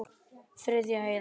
Þriðja eyðan.